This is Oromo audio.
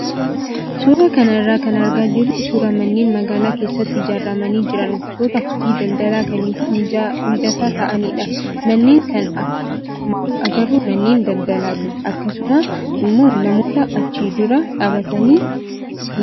Suuraa kana irraa kan argaa jirru suuraa manneen magaalaa keessatti ijaaramanii jiran gosoota hojii daldalaa kamiifuu mijataa ta'anidha. Manneen kana akkuma agarru manneen daldalaati akkasuma immoo namoota achi dura dhaabbatan ni argina.